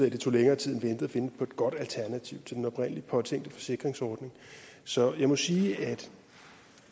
at det tog længere tid end ventet at finde på et godt alternativ til den oprindelig påtænkte forsikringsordning så jeg må sige at